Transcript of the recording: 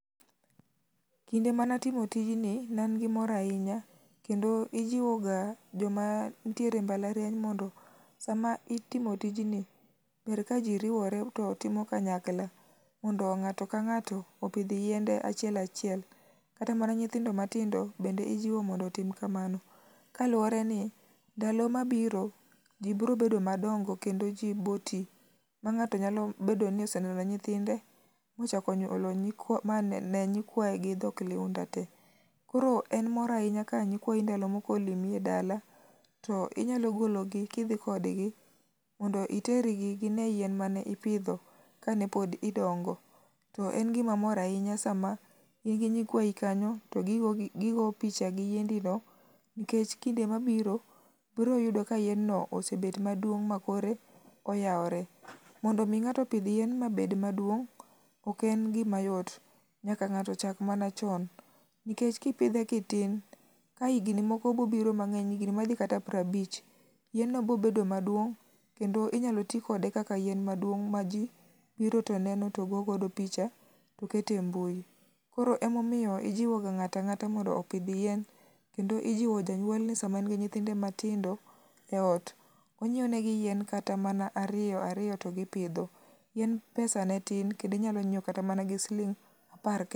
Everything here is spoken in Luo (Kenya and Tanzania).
Kinde mane atimo tijni ne an gi amor ahinya, kendo ijiwoga joma nitiere mbalariany mondo sama itimo tijni, ber ka ji riwore to timo kanyakla mondo ng'ato ka ng'ato opidh yiende achiel achiel. Kata mana nyithindo matindo bende ijiwo mondo otim kamano, kaluwore ni ndalo mabiro ji bro bedo madongo kendo ji bo ti ma ng'ato nyalo bedo ni oseneno nyithinde, mochako onywolo nyikwa mane nyikwae gi dhokliunda te. Koro en mor ahinya ka nyikwai ndalo moko olimi e dala, to inyalo gologi ka idhi kodgi mondo itergi gine yien mane ipidho kane pod idongo. To en gima mor ahinya sama in gi nyikwai kanyo, to gigo gi gigo picha gi yiendi no nikech kinde ma biro bro yudo ka yienno osebet maduong' ma kore oyaore. Mondo mi ng'ato pidh yien mabed maduong' ok en gima yot, nyaka ng'ato chak mana chon nikech kipidhe kitin, ka igni moko bro biro mang'eny, higni madhi kata prabich, yienno bro bedo maduong' kendo inyalo ti kode kaka yien ma ji biro to neno to go godo picha to keto e mbui. Koro emomiyo ijiwo ga ng'at ang'ata mondo opidh yien, kendo ijiwo janyuol ni sama en gi nyithinde matindo e ot, onyieo negi yien kata mana ariyo ariyo to gipidho, yien pesane tin kendo inyalo nyieo kata mana gi siling' apar ke.